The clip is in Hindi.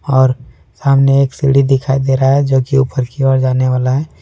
और सामने एक सीढ़ी दिखाई दे रहा है जो कि ऊपर की ओर जाने वाला है।